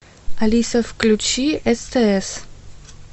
алиса включи стс